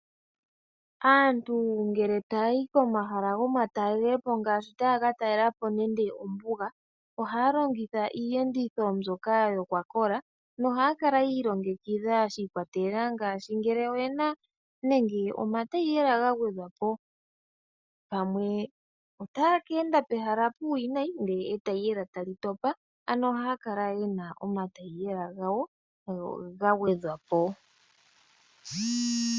Aantu ngele taayi komahala gomatalelepo, ngaashi mombuga oha ya longitha iiyenditho mbyoka yokwa kola noha ya ya kala yiilongekidha shiikwatelela kolweendo. Oha ya kala ye na omataiyela gawo ga gwedhwa po ya ningila uuna ta ya ka enda pomahala omawinayi mpoka omataiyela taga vulu okutopela.